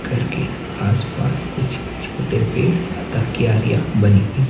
घर के आसपास कुछ छोटे पेड़ अतः कियारिया बनी हुई--